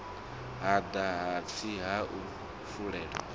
hada hatsi ha u fulela